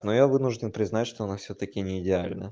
но я вынужден признать что она всё-таки не идеальна